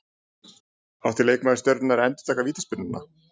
Átti leikmaður Stjörnunnar að endurtaka vítaspyrnuna?